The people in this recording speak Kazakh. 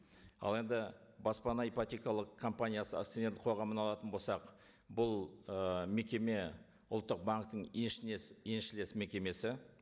ал енді баспана ипотекалық компаниясы акционерлік қоғамын алатын болсақ бұл ы мекеме ұлттық банктің еншілес мекемесі